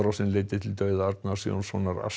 sem leiddi til dauða Arnars Jónssonar